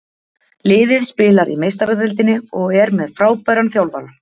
Liðið spilar í meistaradeildinni og er með frábæran þjálfara.